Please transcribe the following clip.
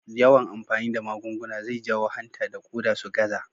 Yawan amfani da magunguna zai jawo hanta da ƙoda su gaza.